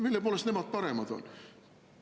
Mille poolest nemad paremad on?